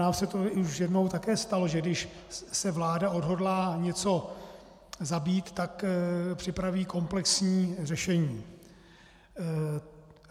Nám se to už jednou také stalo, že když se vláda odhodlá něco zabít, tak připraví komplexní řešení.